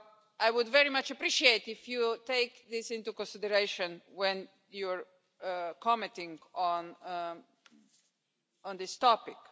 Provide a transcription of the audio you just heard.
I would very much appreciate it if you take this into consideration when you are commenting on this topic.